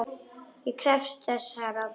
Ég krefst þess herra!